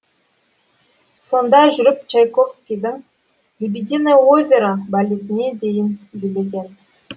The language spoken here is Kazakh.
сонда жүріп чайковскийдің лебединое озеро балетіне дейін билеген